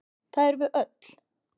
Það erum við öll.